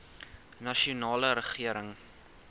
nasionale regering